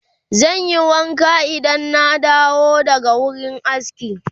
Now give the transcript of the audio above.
zanyi wanka Idan na dawo daga wurin aski